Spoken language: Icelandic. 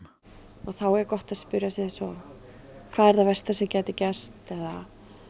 og þá er gott að spyrja sig eins og hvað er það versta sem gæti gerst eða